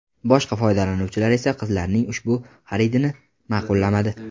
Boshqa foydalanuvchilar esa qizlarning ushbu xaridini ma’qullamadi.